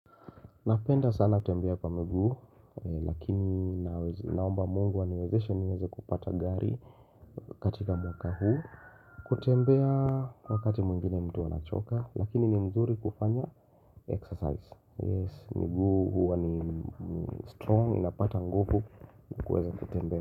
Napenda sana kutembea kwa miguu, lakini naomba mungu aniwezeshe niweze kupata gari katika mwaka huu kutembea wakati mwingine mtu anachoka, lakini ni mzuri kufanya exercise Yes, miguu huuwani strong, inapata nguvu kukueza kutembea.